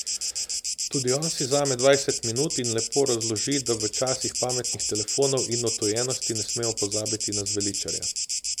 Tudi on si vzame dvajset minut in lepo razloži, da v časih pametnih telefonov in odtujenosti ne smemo pozabiti na zveličarja.